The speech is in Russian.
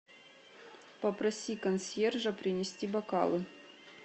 попроси консьержа принести бокалы